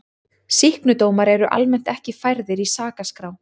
Sýknudómar eru almennt ekki færðir í sakaskrá.